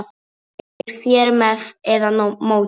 Eruð þér með eða móti?